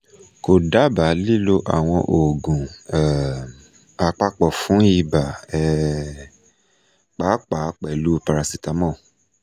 ko daba lilo awọn oogun um apapọ fun iba um paapaa pẹlu paracetamol